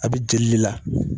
A bɛ jeli de la.